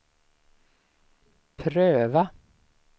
pröva